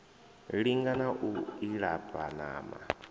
linga na u ilafha ṋama